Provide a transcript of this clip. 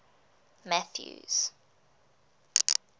mathews